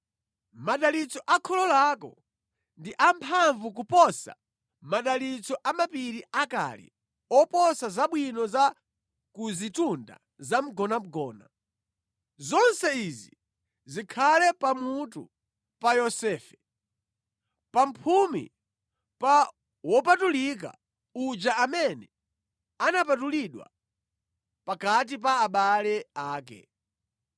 Madalitso a kholo lako ndi amphamvu kuposa madalitso a mapiri akale oposa zabwino za ku zitunda zamgonagona. Zonse izi zikhale pamutu pa Yosefe, pa mphumi pa wopatulika uja amene anapatulidwa pakati pa abale ake.